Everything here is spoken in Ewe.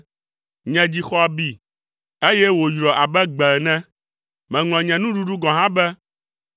Nye dzi xɔ abi, eye wòyrɔ abe gbe ene. Meŋlɔ nye nuɖuɖu gɔ̃ hã be.